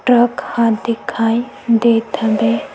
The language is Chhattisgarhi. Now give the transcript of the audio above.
ट्रक ह दिखाई देत हवे।